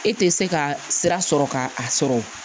E tɛ se ka sira sɔrɔ ka a sɔrɔ